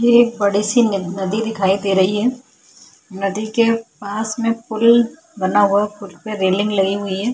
ये एक बड़ी सी नदी दिखाई दे रही हैं नदी के पास में पूल बना हुआ पूल पे रेलिंग लगी हुई हैं।